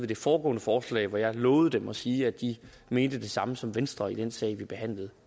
det foregående forslag hvor jeg havde lovet dem at sige at de mente det samme som venstre i den sag vi behandlede